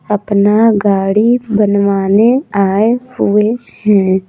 अपना गाड़ी बनवाने आए हुए है।